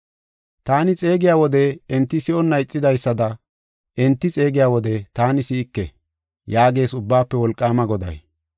Taani xeegiya wode enti si7onna ixidaysada enti xeegiya wode taani si7ike” yaagees Ubbaafe Wolqaama Goday.